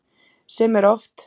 Sem er oft.